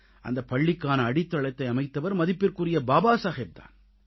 அந்தப் பள்ளிக்கான அடித்தளத்தை அமைத்தவர் மதிப்பிற்குரிய பாபா சாகேப் தான்